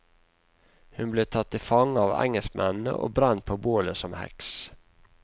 Hun ble tatt til fange av engelskmennene og brent på bålet som heks.